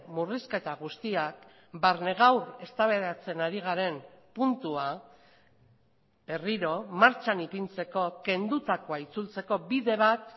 murrizketa guztiak barne gaur eztabaidatzen ari garen puntua berriro martxan ipintzeko kendutakoa itzultzeko bide bat